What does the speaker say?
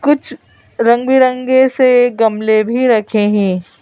कुछ रंग बिरंगे से गमले भी रखे हैं।